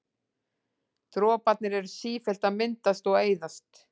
Droparnir eru sífellt að myndast og eyðast.